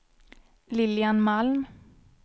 Lilian Malm